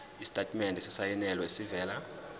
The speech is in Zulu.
isitatimende esisayinelwe esivela